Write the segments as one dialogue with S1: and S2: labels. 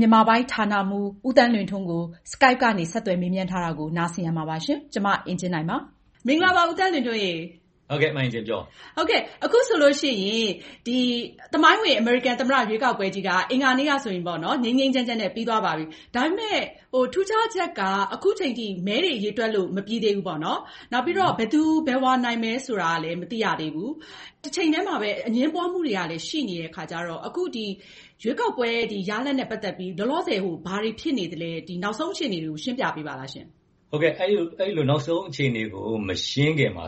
S1: မြန်မာပိုင်းဌာနမှူး ဦးသန်းလွင်ထွန်းကို မအင်ကြင်းနိုင်က Skype ကနေ ဆက်သွယ် မေးမြန်းထားပါတယ်။
S2: အခုဆိုရင် သမိုင်းဝင် အမေရိကန်သမ္မတ ရွေးကောက်ပွဲ အင်္ဂါနေ့ကဆိုရင် ငြိမ်းငြိမ်းချမ်းချမ်းနဲ့ ပြီးသွားပါပြီ။ ဒါပေမယ့် ထူးခြားချက်က အခုအချိန်အထိ မဲတွေ ရေတွက်လို့ မပြီးသေးဘူးပေါေ့နာ်။ နောက်ပြီးတော့ ဘယ်သူ ဘယ်ဝါနိုင်မယ်ဆိုတာကလည်း မသိရသေးဘူး။ တချိန်တည်းမှာပဲ အငြင်းပွားမှုတွေကလည်း ရှိနေတဲ့အခါကျတော့ ရွေးကောက်ပွဲ ဒီရလဒ်နဲ့ ပတ်သက်ပြီးတော့ လောလောဆယ် ဘာတွေဖြစ်နေသလဲ ဒီ နောက်ဆုံးအခြေအနေတွေကို ရှင်းပြပေးပါ။
S3: အဲဒီလို နောက်ဆုံးအခြေအနေတွေကို မရှင်းခင်မှာ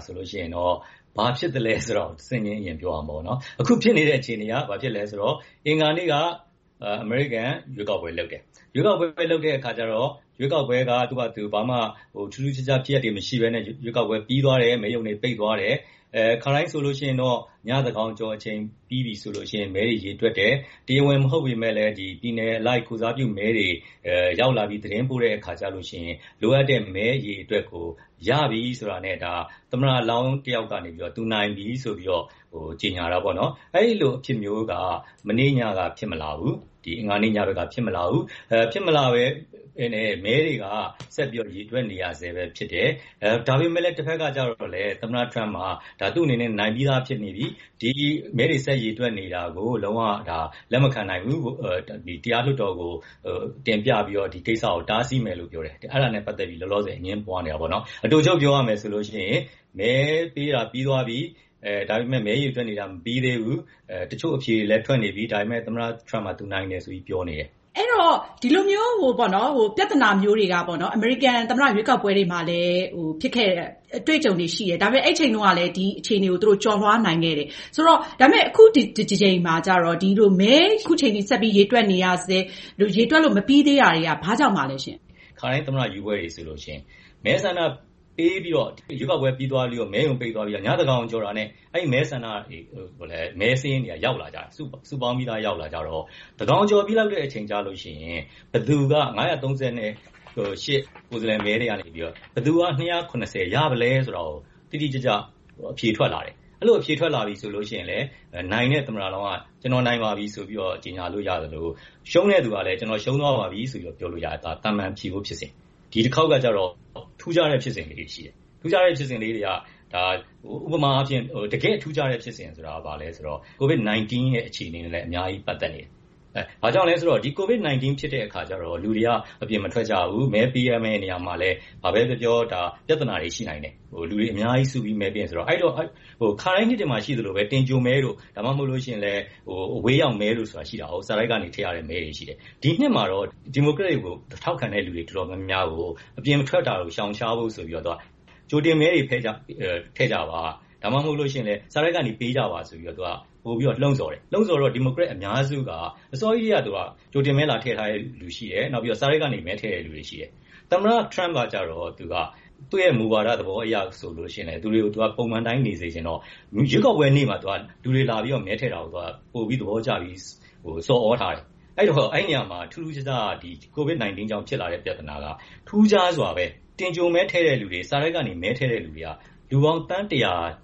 S3: ဘာဖြစ်သလဲဆိုတာကို တဆင့်ချင်း ပြောရမှာပေါ့နော်။ အခုဖြစ်နေတဲ့အခြေအနေက ဘာဖြစ်သလဲဆိုတော့ အင်္ဂါနေ့က အမေရိကန် ရွေးကောက်ပွဲလုပ်တယ်။ ရွေးကောက်ပွဲ လုပ်တဲ့အခါကျတော့ ရွေးကောက်ပွဲက သူ့ဟာသူ ထူးထူးခြားခြားဖြစ်ရပ်တွေ မရှိဘဲနဲ့ ရွေးကောက်ပွဲပြီးသွားတယ်။ မဲရုံတွေ ပိတ်သွားတယ်။ ခါတိုင်းဆိုရင် ညသန်းခေါင်ကျော်ချိန်ပြီးပြီဆိုရင် မဲတွေရေတွက်တယ်၊ တရားဝင် မဟုတ်ပေမယ့်လည်း ပြည်နယ်အလိုက် ကိုယ်စားပြုမဲတွေ ရောက်လာပြီး သတင်းပို့ တဲ့အခါကျရင် လိုအပ်တဲ့မဲ အရေအတွက်ကို ရပြီဆိုတာနဲ့ ဒါ သမ္မတလောင်းတယောက်ကနေ သူနိုင်ပြီဆိုပြီးတော့ ကြေညာတာပေါ့နော်။ အဲလိုအဖြစ်မျိုးက မနေ့ အင်္ဂါနေ့ ညက ဖြစ်မလာဘူး။ ဖြစ်မလာဘဲနဲ့ မဲတွေက ဆက်ပြီးတော့ ရေတွက်နေရဆဲ ဖြစ်တယ်။ ဒါပေမယ့်လည်း တဘက်က ကျတော့လည်း သမ္မတ Trump က သူ့အနေနဲ့ နိုင်ပြီးသားဖြစ်နေပြီ၊ ဒီမဲတွေ ဆက်ပြီးရေတွက်နေတာကို လုံး၀ လက်မခံနိုင်ဘူး။ တရားလွှတ်တော်ကို တင်ပြပြီးတော့ ဒီကိစ္စကို တားဆီးမယ်လို့ပြောတယ်။ အဲဒါနဲ့ ပတ်သက်ပြီး လောလောဆည် အငြင်းပွားနေတာပေါ့နော်။ အတိုချုပ်ပြောရမယ်ဆိုရင် မဲပေးတာ ပြီးသွားပြီ၊ ဒါပေမယ့် မဲရေတွက်တာမပြီးသေးဘူး။ တချို့အဖြေတွေလည်း ထွက်နေပြီ။ ဒါပေမယ့် သမ္မတ Trump က သူ့အနေနဲ့ နိုင်တယ်လို့ ပြောနေတယ်။
S2: ဒီလိုမျိုးပြဿနာမျိုးတွေက အမေရိကန်သမ္မတ ရွေးကောက်ပွဲတွေမှာလည်း ဖြစ်ခဲ့တဲ့ အတွေ့အကြုံတွေရှိတယ်။ ဒါပေမယ့် အဲဒီအချိန်တုန်းကလည်း ဒီလိုအခြေအနေကို ကျော်လွားနိုင်ခဲ့တယ်။ အခုတကြိမ်မှာတော့ မဲဆက်ပြီး ရေတွက်နေရဆဲ ရေတွက်လို့ မပြီးသေးတဲ့အပေါ်မှာ ဘာကြောင့်ပါလဲ။
S3: ခါတိုင်း အမေရိကန်သမ္မတ ရွေးကောက်ပွဲတွေမှာဆိုရင် မဲဆန္ဒပေးပြီးတော့ ရွေးကောက်ပွဲ ပြီးသွားပြီးတော့ မဲရုံတွေ ပိတ်သွားပြီး ညသန်းခေါင်ကျော်တာနဲ့ မဲစာရင်းတွေက ရောက်လာကြပြီ စုပေါင်းပြီးရောက်လာကြတော့ ညသန်းခေါင် ကျော်ပြီးလောက်တဲ့အချိန်ကျရင် ၅၃၈ ကိုယ်စားလှယ်မဲတွေကနေ ဘယ်သူက ၂၇၀ ရသလဲဆိုတာကို တိတိကျကျ အဖြေထွက်လာတယ်။ အဲလိုအဖြေထွက်လာပြီဆိုရင်တော့ နိုင်တဲ့ သမ္မတက ကျနော်နိုင်ပါပြီဆိုပြီးတော့ ကြေညာလို့ ရသလို၊ ရှုံးတဲ့သူကလည်း ကျနော် ရှုံးသွားပါပြီဆိုပြီးတော့ ပြောလို့ရတယ်။ ဒါက သာမန်ဖြစ်ရိုးဖြစ်စဉ်။ ဒီတခေါက်ကတော့ ထူးခြားတဲ့ ဖြစ်စဉ်လေးတွေရှိတယ်။ ဥပမာ - တကယ့် ထူးခြားတဲ့ ဖြစ်စဉ်ဆိုတာ ဘာလဲဆိုတော့ COVID-19 အခြေအနေတွေလည်း အများကြီး ပတ်သက်နေတယ်။ ဘာကြောင့်လဲဆိုတော့ ဒီ COVID-19 ဖြစ်တဲ့အခါကျတော့ လူတွေက အပြင်မထွက်ကြဘူး မဲပေးရမယ့်နေရာမှာလည်း ဘာပဲပြောပြော ပြဿနာတွေ အများကြီး ရှိနိုင်တယ်။ လူတွေအများကြီး စုပြီးတော့ မဲပေးတယ်ဆိုတာ။ အဲဒီတော့ ခါတိုင်းနှစ်တွေမှာ ရှိသလိုပဲ တင်ကြိုမဲတို့၊ ဒါမှမဟုတ်ရင်လည်း အဝေးရောက်မဲဆိုတာ ရှိတာကို စာတိုက်ကနေ ထည့်ရတာ။ ဒီနှစ်မှာတော့ ဒီမိုကရက်ကို ထောက်ခံသူတော်တော်များများကို အပြင်ထွက်တာတွေ ရှောင်ရှားဖို့ဆိုပြီးတော့ ကြိုတင်မဲတွေ ထည့်ကြပါ၊ ဒါမှ မဟုတ်ရင်လည်း စာတိုက်ကနေ ပေးကြပါ ဆိုပြီးတော့ သူက ပိုပြီးတော့ လှုံ့ဆော်တယ်။ လှုံ့ဆော်တော့ ဒီမိုကရက်အများစုက အစောကြီးကတည်းက ကြိုတင်မဲ လာထည့်တဲ့လူတွေရှိတယ်။ နောက်ပြီးတော့ စာတိုက်ကနေပြီးတော့ မဲထည့်တဲ့လူတွေရှိတယ်။ သမ္မတ Trump ကတော့ သ့ူမူဝါဒ သဘောအရဆိုရင် လူတွေကို ပုံမှန်အတိုင်းနေစေချင်တော့ ရွေးကောက်ပွဲနေ့မှာ လူတွေလာပြီး မဲထည့်တာကို ပိုပြီးသဘောကျပြီး ဆော်သြထားတယ်။ အဲဒီတော့ အဲဒီနေရာမှာ ထူးထူးခြားခြား COVID ကြောင့် ဖြစ်လာတဲ့ ပြဿနာက ထူးခြားစွာပဲ တင်ကြိုမဲထည့်တဲ့လူတွေ၊ စာတိုက်ကနေ မဲထည့်သူတွေက လူပေါင်း သန်း ၁၀၀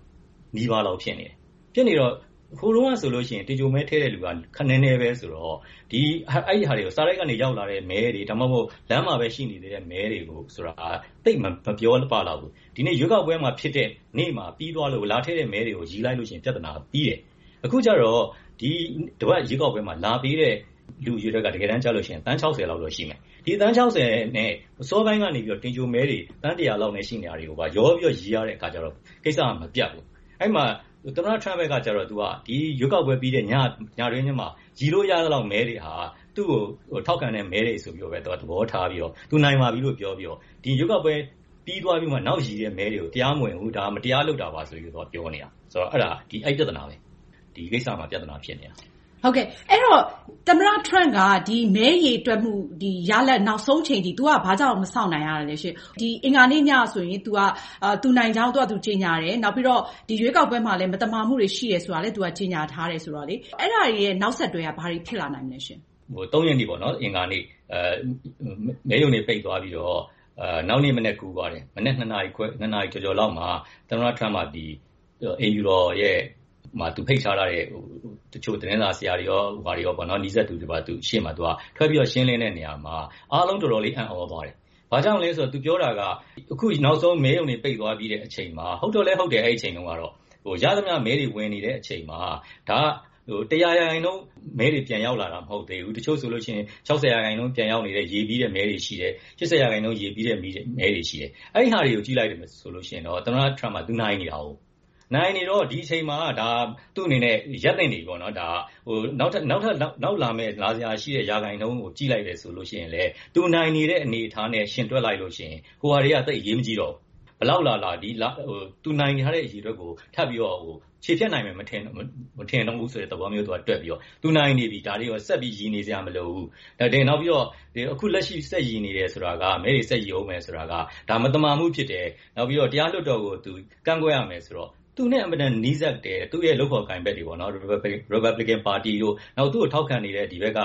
S3: နီးပါးလောက် ဖြစ်နေတယ်။ ဖြစ်နေတော့ ဟိုတုန်းကဆိုရင် တင်ကြိုမဲထည့်တဲ့လူက နည်းနည်းပဲဆိုတော့ အဲဒီ စာတိုက်ကနေရောက်လာတဲ့ မဲတွေ ဒါမှ မဟုတ် လမ်းမှာပဲ ရှိနေသေးတဲ့ မဲတွေ ဆိုတာက သိပ်မပြောပလောက်ဘူး။ ဒီနေ့ ရွေးကောက်ပွဲမှာ ဖြစ်တဲ့ နေ့မှာ ပြီးသွားလို့ လာထည့်တဲ့ မဲတွေကို ရေတွက်လိုက်ရင် ပြဿနာ ပြီးတယ်။ အခုကတော့ ဒီတပတ်ရွေးကောက်ပွဲမှာ လာပေးတဲ့ လူအရေအတွက်က တကယ်တန်းကျရင် သန်း ၆၀ လောက်တော့ ရှိမယ်။ ဒီ သန်း ၆၀ နဲ့ အစောပိုင်းကနေပြီးတော့ တင်ကြိုမဲတွေ သန်း ၁၀၀ လောက်နဲ့ ရှိနေတာတွေကိုပါ ရောပြီးတော့ ရေတွက်တဲ့ အခါကျတော့ ကိစ္စက မပြတ်ဘူး။ သမ္မတ Trump ကတော့ ရွေးကောက်ပွဲ ပြီးတဲ့ ညတွင်းချင်းမှာ ရေလို့ရသလောက်မဲတွေဟာ သူ့ကို ထောက်ခံတဲ့ မဲတွေဆိုတာ သဘောထားပြီးတော့ သူနိုင်ပါပြီလို့ ပြောပြီး၊ ဒီ ရွေးကောက်ပွဲပြီး နောက်ရေတဲ့ မဲတွေကို တရားမဝင်ဘူးလို့၊ ဒါ မတရားလုပ်တာပါဆိုပြီးတော့ ပြောနေတာ ဆိုတော့ အဲဒီပြဿနာပါပဲ။
S2: အဲဒီတော့ သမ္မတ Trump က မဲရေတွက်မှု ရလဒ်နောက်ဆုံးအချိန်အထိ သူက ဘာကြောင့် နိုင်တာလဲရှင့်။ အင်္ဂါနေ့ညကဆိုရင် သူနိုင်ကြောင်း သူဟာသူ ကြေညာတယ်။ နောက်ပြီးတော့ ဒီ ရွေးကောက်ပွဲမှာလည်း မသမာမှုတွေ ရှိနေတယ်ဆိုတာ သူကြေညာထားတယ်ဆိုတော့ အဲဒါရဲ့ နောက်ဆက်တွဲ ဘာတွေ ဖြစ်လာနိုင်မလဲ။
S3: ၃ ရက် အင်္ဂါနေ့ မဲရုံတွေ ပိတ်သွားပြီးတော့ နောက်နေ့မနက် ကူးသွားတယ်၊ မနက် ၂ နာရီ ကျော်ကျော်လောက်မှာ သမ္မတ Trump က ဒီ အိမ်ဖြူတော်မှာ ဖိတ်ကြားထားတဲ့ တချို့ သတင်းစာဆရာတွေရော၊ တချို့ နီးစပ်သူတွေရော သူတို့အရှေ့မှာ ထွက်ပြီးတော့ ရှင်းလင်းတဲ့နေရာမှာ အားလုံးတော်တော်လေး အံသြသွားတယ်။ ဘာကြောင့်လဲဆိုတော့ သူပြောတာက အခုနောက်ဆုံး မဲရုံတွေ ပိတ်သွားပြီ၊ ဟုတ်တော့လည်း ဟုတ်တယ်၊ အဲဒီအချိန်မှာ ရသမျှမဲတွေ ဝင်နေတဲ့အချိန်မှာ ဒါက ၁၀၀ ရာခိုင်နှုန်း မဲတွေ ပြန်ရောက်လာတာ မဟုတ်သေးဘူး။ တချို့ဆိုရင် ၆၀ ရာခိုင်နှုန်း ပြန်ရောက်နေတဲ့ ရေပြီးတဲ့မဲတွေရှိတယ်။ ၈၀ ရာခိုင်နှုန်း ရေပြီးတဲ့ မဲတွေရှိတယ်။ အဲဒီဟာတွေကို ကြည့်မယ်ဆိုရင် သမ္မတ Trump က သူနိုင်နေတာကို။ နိုင်နေတော့ ဒီအချိန်မှာ သူ့အနေနဲ့ ရပ်သင့်နေပြီပေါ့ ။ နောက်ထပ် လာစရာရှိတဲ့ ရခိုင်နှုန်းကို ကြည့်လိုက်တယ်ဆိုရင်လည်း သူနိုင်နေတဲ့ အနေအထားနဲ့ ယှဉ်တွက်လိုက်ရင် ဟိုဟာတွေက သိပ် အရေးမကြီးတော့ဘူး။ ဘယ်လောက်လာလာ သူနိုင်ထားတဲ့ အရေအတွက်ကို ထပ်ပြီး ချေဖျက်နိုင်မယ် မထင်ဘူးဆိုတဲ့ သဘောမျိုး တွက်ပြီးတော့ သူနိုင်နေပြီ၊ ဒါတွေကို ဆက်ပြီးရေနေစရာမလိုဘူး။ နောက်ပြီး အခုလက်ရှိ မဲတွေ ဆက်ရေတွက်နေတယ်ဆိုတာက ဒါက မသမာမှုဖြစ်တယ်။ နောက်ပြီးတော့ တရားလွှတ်တော်ကို ကန့်ကွက်ရမယ်ဆိုပြီးတော့ သူနဲ့ အင်မတန်နီးစပ်တဲ့ သူ့လုပ်ဖော်ကိုင်ဖက်တွေ Republican ပါတီက နောက်သူ့ကို ထောက်ခံနေတဲ့ ဒီဘက်က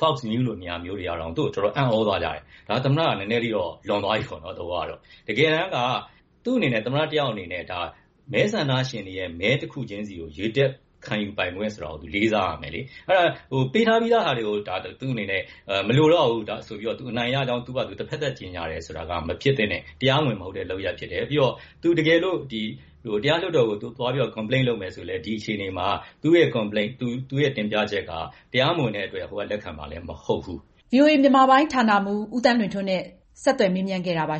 S3: Fox News လို နေရာမျိုးမှာတောင်မှ သူ့ကို တော်တော် အံ့သြသွားကြတယ်။ ဒါ သမ္မတက နည်းနည်းတော့ လွန်သွားပြီပေါ့နော် သဘောကတော့။ တကယ်တမ်းက သူ သမ္မတ တယောက်အနေနဲ့ မဲဆန္ဒရှင်တွေရဲ့ မဲတခုချင်းစီကို ရေတွက်ခံယူပိုင်ခွင့် ဆိုတာကို သူလေးစားရမယ်လေ။ ပေးထားပြီးသားဟာတွေကို သူ့အနေနဲ့ မလိုတော့ဘူး သူ အနိုင်ရကြောင်း သူဟာသူ တဘက်သတ်ကြေညာတယ်ဆိုတာက မဖြစ်သင့်တဲ့ တရားမဝင်တဲ့ လုပ်ရပ်ဖြစ်တယ်။ သူတကယ်လို့ တရားလွှတ်တော်ကို သွားပြီးတော့Complain လုပ်မယ်ဆိုရင်လည်း ဒီအခြေအနေမှာ သူ့တင်ပြချက်က တရားမဝင်တဲ့အတွက် ဟိုဘက်ကလည်း လက်ခံမှာ မဟုတ်ဘူး။
S1: ဗွီအိုအေ မြန်မာပိုင်းဌာနမှူး ဦးသန်းလွင်ထွန်းကို မအင်ကြင်းနိုင်က Skype ကနေ ဆက်သွယ်မေးမြန်းခဲ့တာပါ